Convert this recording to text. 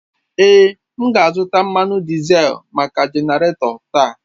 Èé, m ga-azụta mmanụ dizel maka genarator taa.